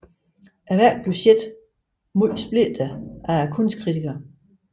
Værket blev set meget splittet af kunstkritikere